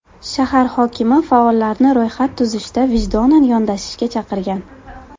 Shahar hokimi faollarni ro‘yxat tuzishda vijdonan yondashishga chaqirgan.